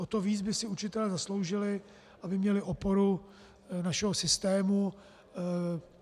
O to víc by si učitelé zasloužili, aby měli oporu našeho systému.